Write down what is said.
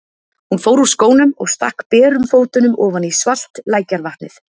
Hún fór úr skónum og stakk berum fótunum ofan í svalt lækjarvatnið.